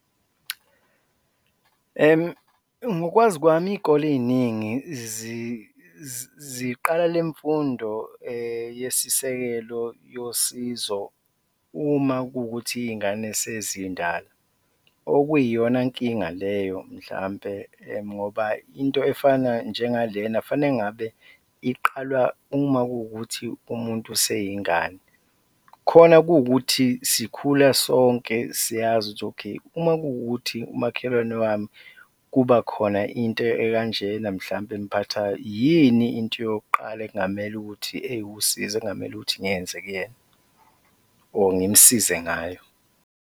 Ngokwazi kwami, iy'kole ey'ningi ziqala le mfundo yesisekelo yosizo uma kuwukuthi iy'ngane sezindala, okuyiyona nkinga leyo mhlawumbe ngoba into efana njenga lena kufanele ngabe iqalwa uma kuwukuthi umuntu useyingane, khona kuwukuthi sikhula sonke siyazi ukuthi okay, uma kuwukuthi umakhelwane wami kuba khona into ekanjena mhlawumbe emphathayo, yini into yokuqala ekungamele ukuthi, ewusizo ekungamele ukuthi ngiyenze kuyena or ngimsize ngayo.